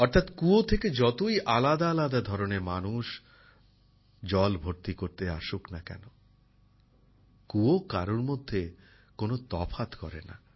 অর্থাৎ কুয়ো থেকে যতই আলাদা আলাদা ধরনের মানুষ জল ভর্তি করতে আসুক না কেন কুয়ো কারোর মধ্যে কোন তফাৎ করে না